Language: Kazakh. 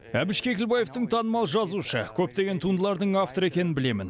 әбіш кекілбаевтың танымал жазушы көптеген туындылардың авторы екенін білемін